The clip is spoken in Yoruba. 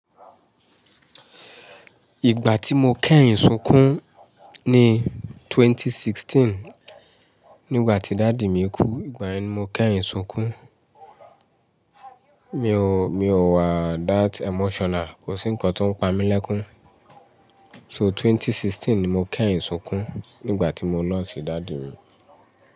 Ìgbà tí mo kẹ́yìn sùnkún ní 2016, nígbà tí daddy mi kú, ìgbà yẹn ni mo kẹ́yìn sùnkún. Mi ò, mi ò wa that emotional, kò sí nǹkan tó ń pa mí lẹ́kún. So 2016 ni mo kẹ́yìn sùnkún nígbà tí mo lost daddy mi.